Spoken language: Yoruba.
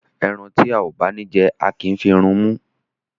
Ẹran tí a ò bá ní jẹ, a kì í fi run imú.